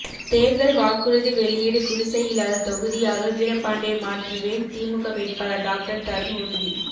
தேர்தல் வாக்குறுதி வெளியீடு குடிசை இல்லாத தொகுதியாக வீரபாண்டியை மாற்றுவேன் திமுக வேட்பாளர் டாக்டர் தருண் உறுதி